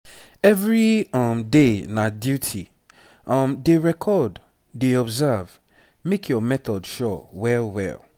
every um day na duty um dey record dey observe make your method sure well well.